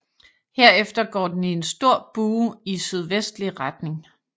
Herefter går den i en stor bue i sydvestlige retning